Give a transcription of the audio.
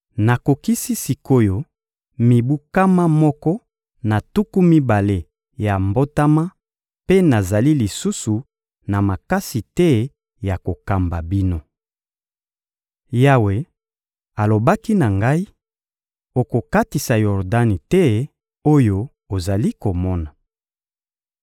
«Nakokisi sik’oyo mibu nkama moko na tuku mibale ya mbotama mpe nazali lisusu na makasi te ya kokamba bino. Yawe alobaki na ngai: ‹Okokatisa Yordani te oyo ozali komona.›